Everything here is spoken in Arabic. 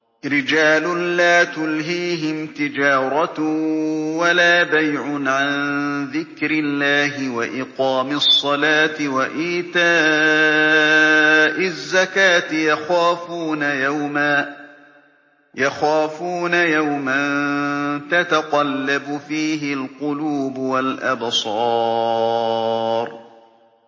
رِجَالٌ لَّا تُلْهِيهِمْ تِجَارَةٌ وَلَا بَيْعٌ عَن ذِكْرِ اللَّهِ وَإِقَامِ الصَّلَاةِ وَإِيتَاءِ الزَّكَاةِ ۙ يَخَافُونَ يَوْمًا تَتَقَلَّبُ فِيهِ الْقُلُوبُ وَالْأَبْصَارُ